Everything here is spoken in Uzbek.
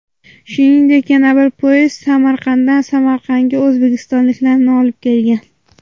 Shuningdek, yana bir poyezd Samaradan Samarqandga o‘zbekistonliklarni olib kelgan .